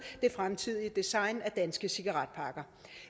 det fremtidige design af danske cigaretpakker